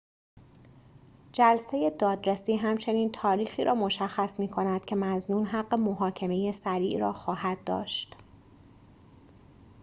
جلسه دادرسی همچنین تاریخی را مشخص می‌کند که مظنون حق محاکمه سریع را خواهد داشت